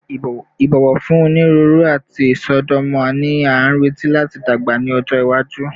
Ibọwọ fun oniruuru ati isọdọmọ ni a nireti lati dagba ni ọjọ iwaju